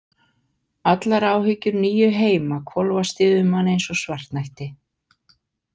Allar áhyggjur níu heima hvolfast yfir mann eins og svartnætti.